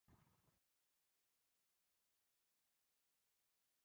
Bryndís Hólm: Og hvaða, hversu miklar gætu afleiðingarnar orðið?